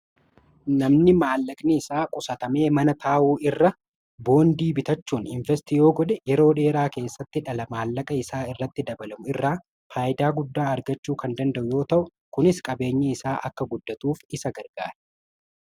namni maallaqni isaa qusatamee mana taa'u irra boondii bitachuun investiiyoo godhe yeroo dheeraa keessatti dhala maallaqa isaa irratti dabalamu irraa faayidaa guddaa argachuu kan danda'u yoo ta'u kunis qabeenyi isaa akka guddatuuf isa gargaara